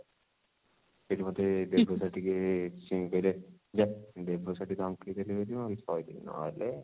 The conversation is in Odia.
ସେଠୁ ମୋତେ ଦେବୁ sir ଟିକେ କହିଲେ ଯା ଦେବୁ sir ସେଠି ଥିଲେ ବୋଲି ମୁଁ ଆଉ କିଛି କହିଲିନି ନହେଲେ